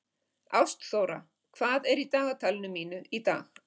Ástþóra, hvað er í dagatalinu mínu í dag?